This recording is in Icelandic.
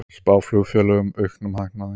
Spá flugfélögum auknum hagnaði